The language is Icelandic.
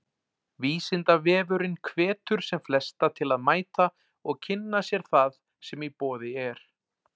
Vísindavefurinn hvetur sem flesta til að mæta og kynna sér það sem í boði er.